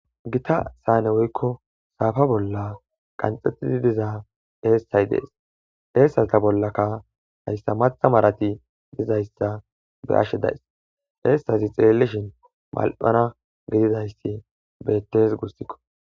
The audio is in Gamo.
Gita saane woykko saafa bolla qanxxettidi diza eessay dees eessata bollaka hayssa matha marati dizayssa be ashshe dayss eessazi xeellishin mal'ana gididayssi bettes gussikko.